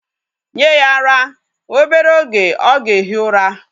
Nye ya ara! Obere oge o ga-ehi ura.